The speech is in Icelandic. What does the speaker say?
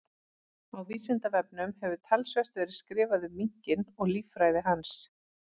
Á Vísindavefnum hefur talsvert verið skrifað um minkinn og líffræði hans.